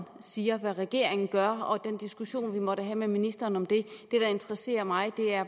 siger og hvad regeringen gør og den diskussion vi måtte have med ministeren om det det der interesserer mig